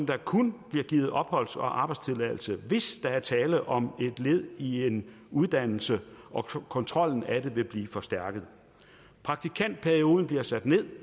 der kun bliver givet opholds og arbejdstilladelse hvis der er tale om et led i en uddannelse og kontrollen af det vil blive forstærket praktikantperioden bliver sat ned